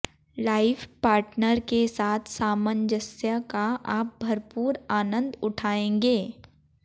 life partner के साथ सामंजस्य का आप भरपूर आनंद ऊठाएंगे